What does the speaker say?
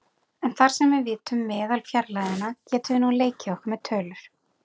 En þar sem við vitum meðalfjarlægðina getum við nú leikið okkur með tölur.